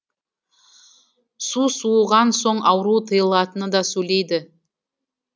су суыған соң ауру тыйылатынын да сөйледі